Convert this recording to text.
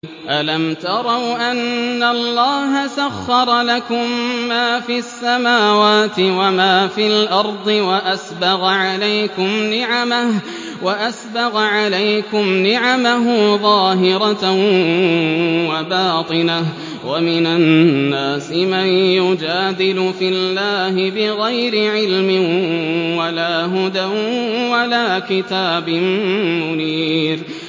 أَلَمْ تَرَوْا أَنَّ اللَّهَ سَخَّرَ لَكُم مَّا فِي السَّمَاوَاتِ وَمَا فِي الْأَرْضِ وَأَسْبَغَ عَلَيْكُمْ نِعَمَهُ ظَاهِرَةً وَبَاطِنَةً ۗ وَمِنَ النَّاسِ مَن يُجَادِلُ فِي اللَّهِ بِغَيْرِ عِلْمٍ وَلَا هُدًى وَلَا كِتَابٍ مُّنِيرٍ